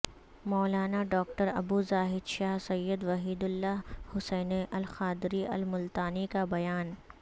مولانا doctor Abu Zahid Shah Syed Waheedullah Hussaini Al Qadri Al Multani کا بیان